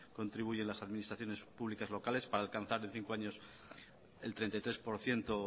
contribuyen las administraciones públicas locales para alcanzar en cinco años el treinta y tres por ciento